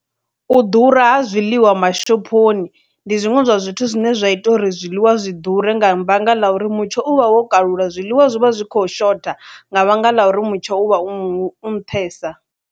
U ḓura ha zwiḽiwa mashoponi ndi zwiṅwe zwa zwithu zwine zwa ita uri zwiḽiwa zwi ḓure nga vhanga ḽa uri mutsho u vha wo kalula zwiḽiwa zwi vha zwi khou shotha nga vhanga ḽa uri mutsho u vha u nṱhesa.